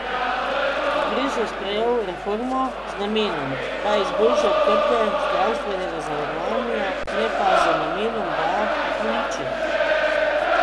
Kongres je sprejel reformo z namenom, da izboljša trge zdravstvenega zavarovanja, ne pa z namenom, da jih uniči.